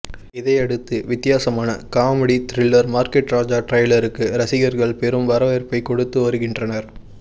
இதை அடுத்து வித்தியாசமான காமெடி திரில்லர் மார்க்கெட் ராஜா ட்ரைலருக்கு ரசிகர்கள் பெரும் வரவேற்பை கொடுத்து வருகின்றனர்